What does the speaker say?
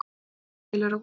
Fundust heilir á húfi